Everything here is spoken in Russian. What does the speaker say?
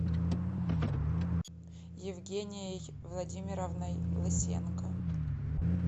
евгенией владимировной лысенко